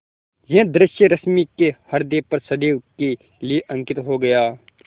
यह दृश्य रश्मि के ह्रदय पर सदैव के लिए अंकित हो गया